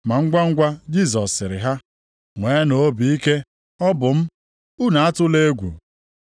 Ma ngwangwa Jisọs sịrị ha, “Nweenụ obi ike! O bụ m; unu atụla egwu.”